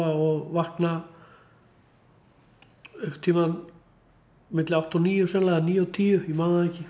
og vakna einhverntíman á milli átta og níu sennilega eða níu og tíu ég man það ekki